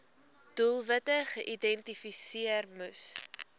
doelwitte geïdentifiseer moes